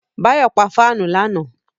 Báyọ̀ pa fáànù lánàá